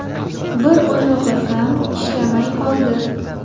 Bir oyog‘i ham ishlamay qoldi.